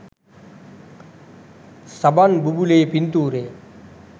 සබන් බුබුලේ පින්තූරය.